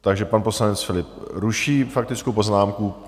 Takže pan poslanec Philipp ruší faktickou poznámku.